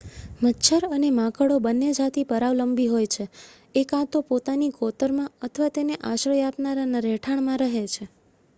મચ્છર અને માંકડો બંને જાતિ પરાવલંબી હોય છે એ કાં તો પોતાની કોતરમાં અથવા તેને આશ્રય આપનારના રહેઠાણમાં રહે છે